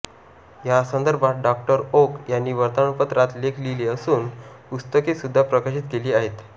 या संदर्भात डॉ ओक यांनी वर्तमानपत्रात लेख लिहिले असून पुस्तके सुद्धा प्रकाशित केली आहेत